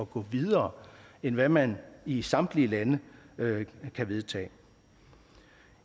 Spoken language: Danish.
gå videre end hvad man i samtlige lande kan vedtage